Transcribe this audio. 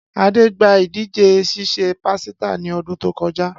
Ade gba idije sise pasita ni odun to koja.